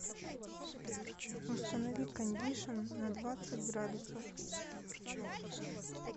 установи кондишн на двадцать градусов